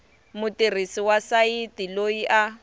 mutirhisi wa sayiti loyi a